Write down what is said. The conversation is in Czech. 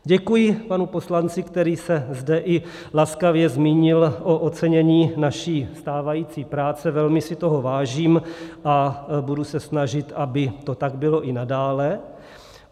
Děkuji panu poslanci, který se zde i laskavě zmínil o ocenění naší stávající práce, velmi si toho vážím a budu se snažit, aby to tak bylo i nadále.